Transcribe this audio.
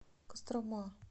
кострома